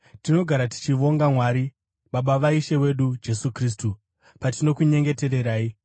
Tinogara tichivonga Mwari, Baba vaIshe wedu Jesu Kristu, patinokunyengetererai,